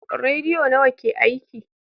Rediyo nawa ke aiki?